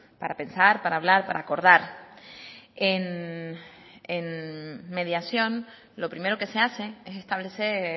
para pensar para hablar para acordar en mediación lo primero que se hace es establecer